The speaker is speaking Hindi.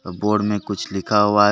आ बोर्ड में कुछ लिखा हुआ है।